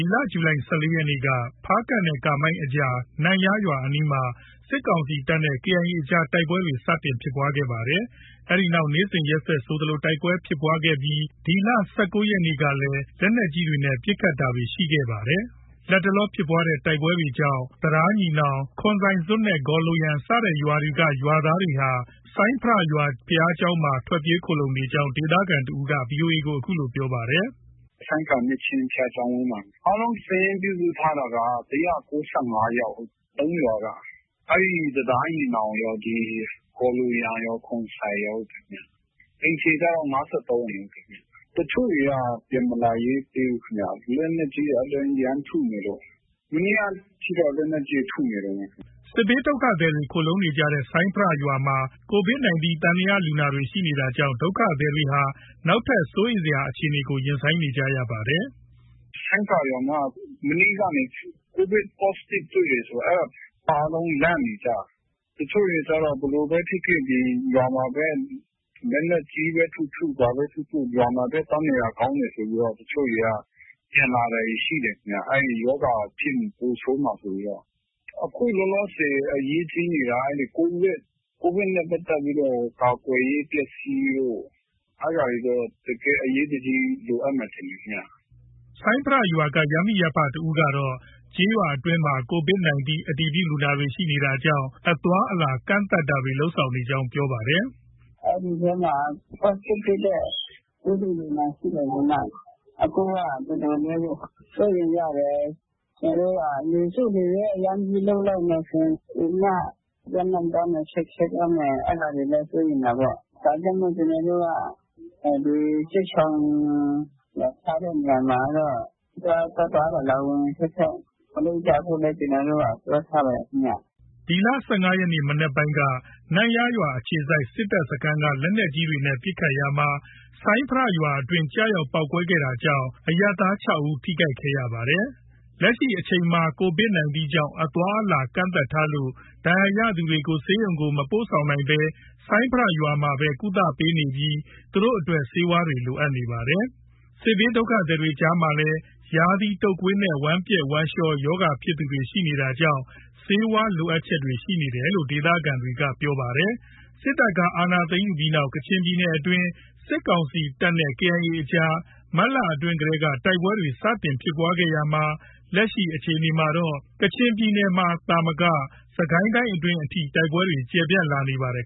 ီလ ဇူလိုင်လ ၁၄ ရက်ကနေမှာ ဖားကန့်နဲ့ ကားမိုင်းအကြားက နမ့်ယားရွာအနီးမှာ စစ်ကောင်စီတပ်နဲ့ KIA အကြား တိုက်ပွဲတွေ စတင်ခဲ့တာပါ။ အဲဒီနောက် နေ့စဉ်ရက်ဆက် ဆိုသလို တိုက်ပွဲဖြစ်ပွားနေပြီး ၁၉ ရက်နေ့မှာလည်း လက်နက်ကြီးနဲ့ ပစ်ခတ်တာတွေ ရှိနေပါတယ်။ လတ်တလော ဖြစ်ပွားတဲ့တိုက်ပွဲကြောင့် တံတားညီနောင်၊ ခွန်ဆိုင်ဇွပ်နဲ့ ဂေါ်လိုယန် စတဲ့ရွာတွေက ရွာသားတွေဟာ ဆိုင်းဖရာရွာ ဘုရားကျောင်းမှာ ထွက်ပြေး ခိုလှုံနေကြောင်း ဒေသခံ တဦးက VOA ကို အခုလို ပြောပါတယ်။ “ဆိုင်းဖရာ နှစ်ချင်းဘုရားကျောင်းမှာ။ အားလုံး စာရင်း ပြုစုထားတာက ၁၉၅ ယောက်။ ၃ ရွာက။ အဲဒီ တံတားညီနောင်ရော၊ ဂေါ်လိုယန်ရော၊ ခွန်ဆိုင်ရောဟုတ်တယ်။ အိမ်ခြေကတော့ ၅၃အ ိမ်။ တချို့တွေက ပြန်မလာရဲသေးဘူးခင်ဗျ။ လက်နက်ကြီးတွေ ရမ်းထုနေလို့။ မနေ့ကထိတော့ လက်နက်ကြီးတွေ ထုနေတုံးပဲ ခင်ဗျ။ ” စစ်ဘေးဒုက္ခသည်တွေ ခိုလှုံနေကြတဲ့ ဆိုင်းဖရာရွာမှာ Covid 19 သံသယလူနာတွေရှိနေတာကြောင့် ဒုက္ခသည်တွေဟာ နောက်ထပ် စိုးရိမ်စရာ အခြေအနေကို ရင်ဆိုင်နေကြရပါတယ်။ “ ဆိုင်းဖရာမှာ မနေ့ကနေ Covid Positive တွေ့တယ်ဆိုပြီး အဲဒါ အားလုံး လန့်နေကြတာ။ တချို့တွေကျတော့ ဘယ်လိုပဲဖြစ်ဖြစ် ရွာမှာပဲ လက်နက်ကြီးပဲ ထုထု ဘာပဲ ထုထု၊ ရွာမှာပဲ သွားနေတာ ကောင်းတယ်ဆိုပြီး တချို့တွေက ပြန်လာတာတွေ ရှိတယ်ခင်ဗျ။ အဲဒီ ရောဂါဖြစ်ရင် ပိုဆိုးမှာဆိုပြီးတော့။ အခုလောလောဆည် အရေးကြီးနေတာက Covid နဲ့ ပတ်သက်ပြီးတော့ ကာကွယ်ရေးပစ္စည်းတို့ အဲဒါတွေတော့ အရေးတကြီး လိုအပ်မယ် ထင်တယ်ခင်ဗျ။” ဆိုင်းဖရာရွာက ရပ်မိရပ်ဖ တစ်ဦးကတော့ ကျေးရွာအတွင်းမှာ Covid အတည်ပြုလူနာ ရှိတာကြောင့် အသွားအလာ ကန့်သတ်တာတွေ လုပ်ဆောင်နေကြောင်း ပြောပါတယ်။ “ အဲဒီထဲမှာ Positive တွေ့တဲ့ ပိုးတွေ့လူနာရှိတယ်ဆိုပြီးမှ အခုက တော်တော်လေးကို စိုးရိမ်ရတယ်။ ကျနော်တို့က လူစု လူဝေး အရမ်းကြီးလုပ်လိုက်မယ်ဆိုရင် ပိုပြီးမှ ပြန့်နှံသွားမယ်၊ ခက်ခဲသွားမယ် အဲဒါတွေလည်း စိုးရိမ်တာပေါ့။ ဒါကြောင့်မို့ ကျနော်တို့က စစ်ရှောင် ထားတဲ့နေရာမှာတော့ သွားသွား လာလာ ဝင်ဝင် ထွက်ထွက် မလုပ်ကြဖို့လည်း ပြောထားပါတယ်ခင်ဗျ။” ၁၅ ရက်နေ့ မနက်ပိုင်းက နမ့်ယားအခြေစိုက် စစ်တပ်စခန်းက လက်နက်ကြီးနဲ့ ပစ်ခတ်ရာမှာ ဆိုင်းဖရာရွာတွင်း ကျရောက်ပေါက်ကွဲတာကြောင့် အရပ်သား ၆ ဦး ထိခိုက်ခဲ့ပါတယ်။ လက်ရှိအချိန်မှာ Covid 19 ကြောင့် အသွားအလာ ကန့်သတ်ထားလို့ ဒဏ်ရာရသူတွေကို ဆေးရုံကို မပို့ဆောင်နိုင်ဘဲ ဆိုင်းဖရာရွာမှာပဲ ကုသပေးနေပြီး သူတို့ အတွက် ဆေးဝါးလိုအပ်နေပါတယ်။ စစ်ဘေးဒုက္ခသည်တွေကြာမှာလည်း ရာသီတုပ်ကွေးနဲ့ ဝမ်းပျက် ဝမ်းလျောရောဂါဖြစ်သူတွေ ရှိနေတာကြောင့် ဆေးဝါးလိုအပ်ချက်တွေရှိနေတယ်လို့ ဒေသခံ တွေက ပြောပါတယ်။ စစ်တပ်က အာဏာသိမ်းယူပြီးနောက် ကချင်ပြညနယ်အတွင်း စစ်ကောင်စီတပ်နဲ့ KIA အကြား မတ်လအတွင်းတည်းက တိုက်ပွဲတွေ စတင်ဖြစ်ပွားခဲ့ရာမှာ လက်ရှိအခြေအနေမှာ တော့ ကချင်ပြည်နယ်မှာ သာမက စစ်ကိုင်းတိုင်းအထိ တိုက်ပွဲတွေ ကျယ်ပြန့်လာနေပါတယ်